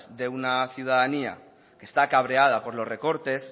de una ciudadanía que está cabreada por los recortes